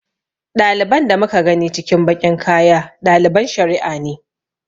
Ɗaliban da muka gani cikin baƙin kaya ɗaliban shari'a ne.